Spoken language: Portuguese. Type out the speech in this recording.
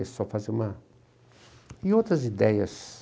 fazer uma... E outras ideias.